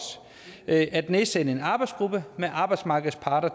at nedsætte en arbejdsgruppe med arbejdsmarkedets parter